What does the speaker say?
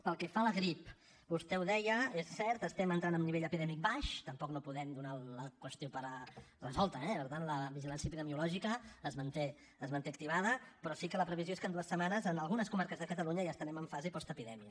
pel que fa a la grip vostè ho deia és cert estem entrant a un nivell epidèmic baix tampoc no podem donar la qüestió per resolta eh per tant la vigilància epidemiològica es manté es manté activada però sí que la previsió és que en dues setmanes en algunes comarques de catalunya ja estarem en fase postepidèmia